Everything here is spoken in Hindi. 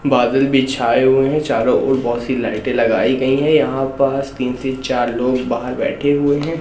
बादल भी छाए हुए हैं चारों ओर बहोत सी लाइटे लगाई गई हैं यहां पास तीन से चार लोग बाहर बैठे हुए हैं।